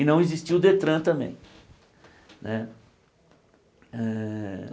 E não existia o Detran também né hã.